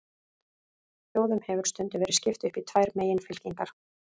Þjóðum hefur stundum verið skipt upp í tvær meginfylkingar.